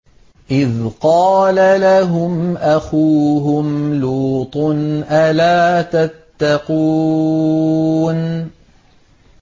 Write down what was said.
إِذْ قَالَ لَهُمْ أَخُوهُمْ لُوطٌ أَلَا تَتَّقُونَ